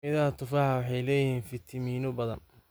Midhaha tufaaxu waxay leeyihiin fiitamiino badan.